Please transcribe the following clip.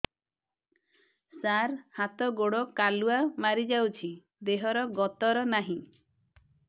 ସାର ହାତ ଗୋଡ଼ କାଲୁଆ ମାରି ଯାଉଛି ଦେହର ଗତର ନାହିଁ